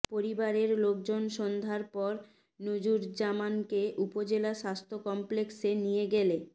পরিবারের লোকজন সন্ধ্যার পর নুরুজ্জামানকে উপজেলা স্বাস্থ্য কমপ্লেক্সে নিয়ে গেলে